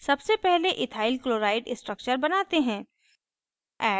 सबसे पहले ethyl chloride structure बनाते हैं